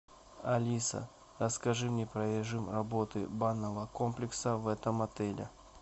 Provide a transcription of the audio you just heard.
алиса расскажи мне про режим работы банного комплекса в этом отеле